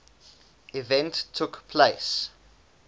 event took place